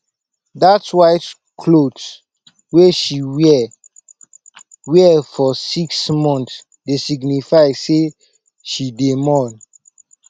dat white clot wey she wear wear for six mont dey signify sey she dey mourn